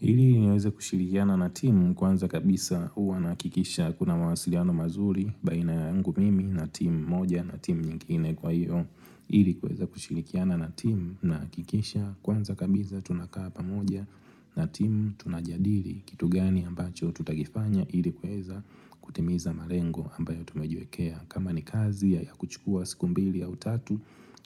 Ili niweze kushirikiana na timu kwanza kabisa uwa nahakikisha kuna mwasiliano mazuri baina yangu mimi na timu moja na timu nyingine kwa hiyo. Ili kuweza kushirikiana na timu nahakikisha kwanza kabisa tunakaa pamoja na timu tunajadili kitu gani ambacho tutakifanya ili kuweza kutimiza marengo ambayo tumejiwekea. Kama ni kazi ya kuchukua siku mbili au tatu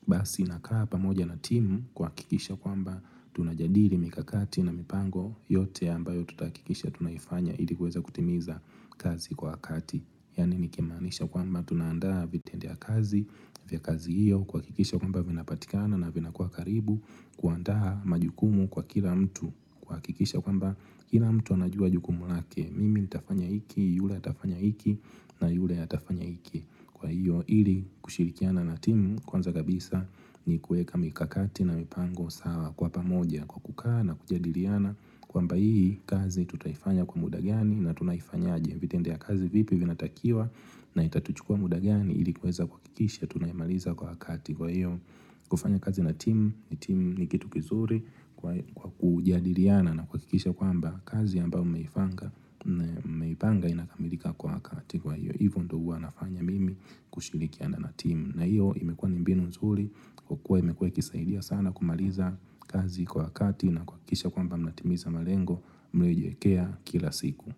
Basi nakaa pamoja na timu kuhakikisha kwamba tunajadili mikakati na mipango yote ambayo tutahakikisha tunaifanya ili kuweza kutimiza kazi kwa wakati yaani nikimaanisha kwamba tunaandaa vitendea kazi vya kazi iyo kuakikisha kwamba vinapatikana na vinakua karibu kuandaa majukumu kwa kila mtu kuakikisha kwamba kila mtu anajua jukumu lake Mimi itafanya iki, yule atafanya iki na yule atafanya iki kwa hiyo ili kushirikiana na timu kwanza kabisa ni kueka mikakati na mipango sawa kwa pamoja kwa kukaa na kujadiliana kwamba hii kazi tutaifanya kwa muda gani na tunaifanyaje vitendea kazi vipi vinatakiwa na itatuchukua muda gani ili kueza kuakikisha tunaimaliza kwa hakati Kwa hiyo kufanya kazi na timu ni timu ni kitu kizuri kwa kujadiliana na kuakikisha kwamba kazi ambayo mmeipanga inakamilika kwa hakati kwa hiyo. Hivu ndo huwa nafanya mimi kushirikiana na timu. Na hiyo imekuwa ni mbinu nzuri. Kukua imekuwa ikisaidia sana kumaliza kazi kwa wakati na kuakikisha kwamba mnatimiza malengo mlejiwekea kila siku.